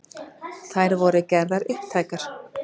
Þær voru gerðar upptækar